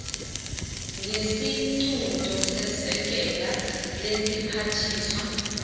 ngesiqunto sesekela lesiphathiswa